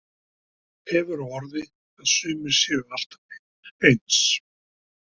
Hefur á orði að sumir séu alltaf eins.